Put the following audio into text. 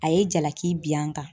A ye jalaki bin an kan